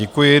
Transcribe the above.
Děkuji.